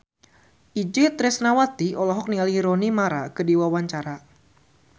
Itje Tresnawati olohok ningali Rooney Mara keur diwawancara